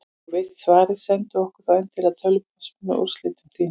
Ef þú veist svarið, sendu okkur þá endilega tölvupóst með úrlausnum þínum.